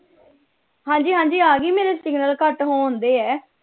ਹਾਂਜੀ ਹਾਂਜੀ ਆ ਗਈ ਮੇਰੇ signal ਘੱਟ ਹੋਣ ਦੇ ਹੈ।